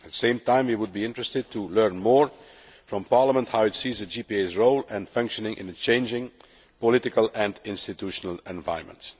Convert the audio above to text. At the same time, we would be interested to learn more from Parliament how it sees the JPA's role and functioning in a changing political and institutional environment.